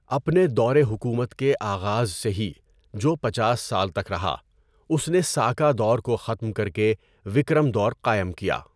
اپنے دور حکومت کے آغاز سے ہی، جو پچاس سال تک رہا، اس نے ساکا دور کو ختم کر کے وکرم دور قائم کیا۔